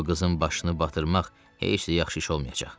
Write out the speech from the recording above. Bu qızın başını batırmaq heç də yaxşı iş olmayacaq.